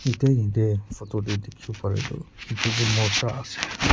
eta yate photo tae dikhiwo parae tu edu tu morja ase.